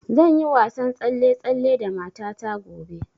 Zan yi wasan tsalle-tsalle da mata ta gobe